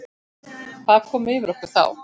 Hvað kom yfir okkur þá?